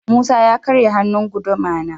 Musa ya karya hannun guduma na.